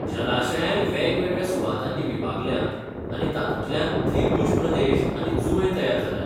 जलाशयांय वेगवेगळ्या सुवातांनी विभागल्यांत आनी तातूंतल्यान त्रिभुज प्रदेश आनी जुंवे तयार जाल्यात.